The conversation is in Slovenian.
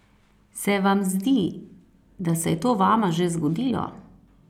Se vam zdi, da se je to vama že zgodilo?